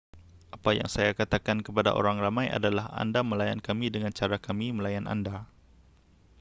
apa yang saya katakan kepada orang ramai adalah anda melayan kami dengan cara kami melayan anda